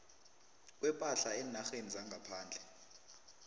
kwepahla eenarheni zangaphandle